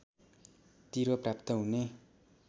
तिरो प्राप्त हुने